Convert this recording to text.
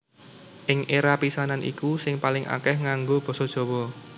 Ing éra pisanan iku sing paling akèh nganggo basa Jawa